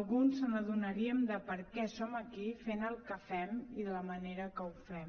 alguns s’adonarien de per què som aquí fent el que fem i de la manera que ho fem